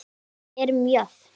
Við erum jöfn.